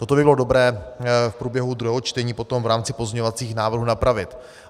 Toto by bylo dobré v průběhu druhého čtení potom v rámci pozměňovacích návrhů napravit.